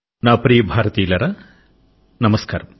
నా ప్రియమైన దేశవాసులారా నమస్కారం